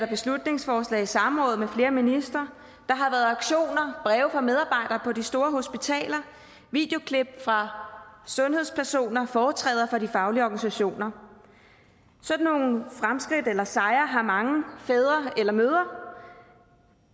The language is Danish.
beslutningsforslag samråd med flere ministre der har været aktioner breve fra medarbejdere store hospitaler videoklip fra sundhedspersoner og foretræder fra de faglige organisationer sådan nogle fremskridt eller sejre har mange fædre eller mødre